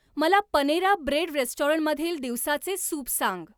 मला Panera Bread रेस्टॉरंटमधील दिवसाचे सूप सांग